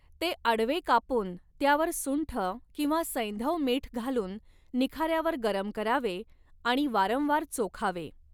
ते आडवे कापून त्यावर सुंठ किंवा सैंधव मीठ घालून निखाऱ्यावर गरम करावे आणि वारंवार चोखावे.